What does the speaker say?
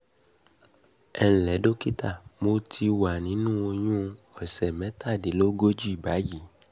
ẹ ǹlẹ́ dọ́kítà mo wà ti wà nínú oyún òsẹ̀ mẹ́tàdínlógójì báyìí